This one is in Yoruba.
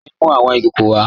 Kẹmì n mú awọn ikòkò wà.